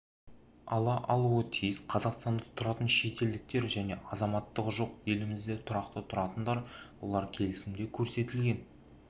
ала алуы тиіс қазақстанда тұратын шетелдіктер және азаматтығы жоқ елімізде тұрақты тұратындар олар келісімде көрсетілген